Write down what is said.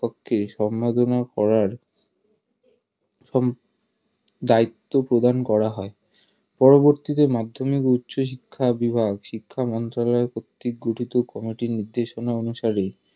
সম্পাদনা করার দায়িত্ব প্রদান করা হয় পরবর্তীতে মাধ্যমিক ও উচ্চশিক্ষা বিভাগ শিক্ষা মন্ত্রণালয় কর্তৃক গঠিত কমিটির নির্দেশনা অনুসারে